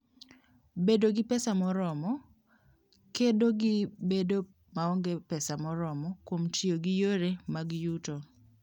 Bedo gi pesa moromo: Kedo gi bedo maonge pesa moromo kuom tiyo gi yore mag yuto.